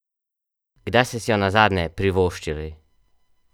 Kdaj ste si jo nazadnje privoščili?